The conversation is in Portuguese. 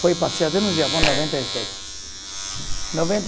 Foi passear até no Japão noventa e sete. Noventa